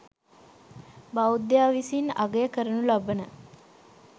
බෞද්ධයා විසින් අගය කරනු ලබන